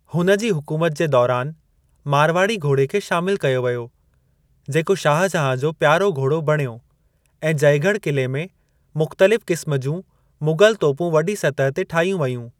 हुन जी हुकूमत जे दौरानि मारवाड़ी घोड़े खे शामिल कयो वयो जेको शाहजहां जो प्यारो घोड़ो बणियो ऐं जयगढ़ किले में मुख़्तलिफ़ क़िस्म जूं मुग़ल तोपूं वॾी सतह ते ठाहियूं वेयूं।